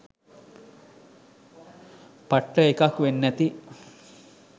පට්ට එකක් වෙන්නැති